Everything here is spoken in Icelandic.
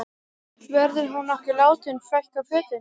Verður hún nokkuð látin fækka fötum?